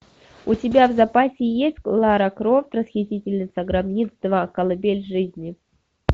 у тебя в запасе есть лара крофт расхитительница гробниц два колыбель жизни